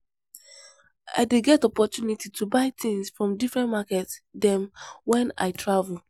I dey get opportunity to buy tins from differen market dem wen I travel.